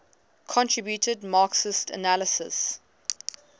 contributed marxist analyses